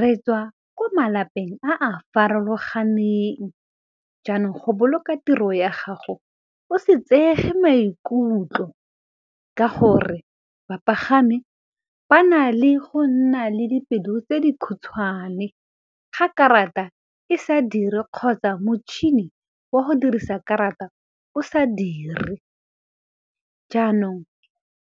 re tswa ko malapeng a a farologaneng, jaanong go boloka tiro ya gago o se tseege maikutlo, ka gore bapagami ba na le go nna le dipelo tse di khutshwane, ga karata e sa dire kgotsa motšhini wa go dirisa karata thata o sa dire. Jaanong